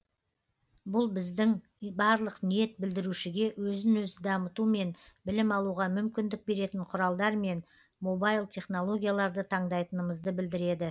бұл біздің барлық ниет білдірушіге өзін өзі дамыту мен білім алуға мүмкіндік беретін құралдар мен мобайл технологияларды таңдайтынымызды білдіреді